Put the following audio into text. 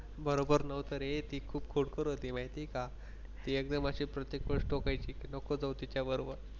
बरोबर नव्हतं रे ती खूप खोडकर होती माहिती का ती एकदम अशी प्रत्येक गोष्ट ऐकायची नको जाऊ तिच्याबरोबर.